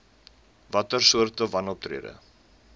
watter soorte wanoptrede